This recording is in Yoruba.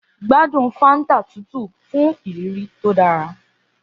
Gbádùn Fanta tútù fún ìrírí tó dára.